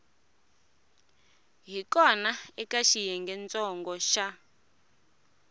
hi kona eka xiyengentsongo xa